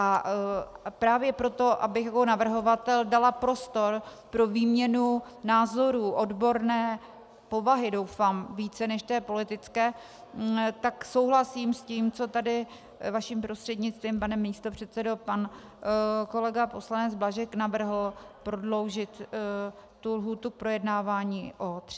A právě proto, abych jako navrhovatel dala prostor pro výměnu názorů odborné povahy, doufám, více než té politické, tak souhlasím s tím, co tady vaším prostřednictvím, pane místopředsedo, pan kolega poslanec Blažek navrhl - prodloužit tu lhůtu projednávání o 30 dní.